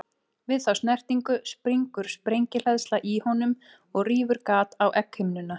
Við þá snertingu springur sprengihleðsla í honum og rýfur gat á egghimnuna.